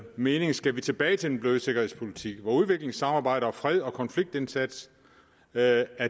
mening skal vi tilbage til den bløde sikkerhedspolitik hvor udviklingssamarbejde freds og konfliktindsats er